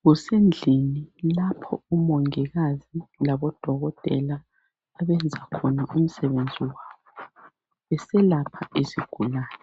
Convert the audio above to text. Kusendlini lapho omongikazi labodokotela abenze khona umsebenzi wabo beselapha izigulane.